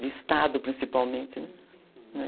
De estado, principalmente, né?